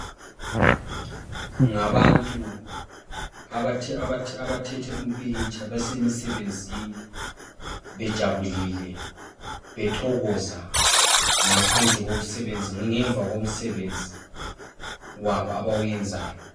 Ngabantu abathethe umpikitsha besemisebenzini bejabulile bethokoza ngaphandle kokusebenza, ngemva komsebenzi wabo abawenzayo